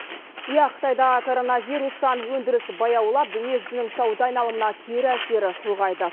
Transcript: иә қытайда коронавирустан өндірісі баяулап дүниежүзінің сауда айналымына кері әсері ұлғайды